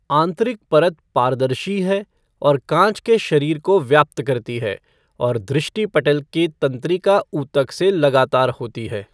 आंतरिक परत पारदर्शी है और कांच के शरीर को व्याप्त करती है, और दृष्टिपटल के तंत्रिका ऊतक से लगातार होती है।